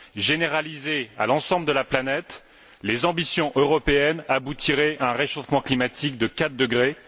Généraliser à l'ensemble de la planète les ambitions européennes aboutirait à un réchauffement climatique de 4 degrés.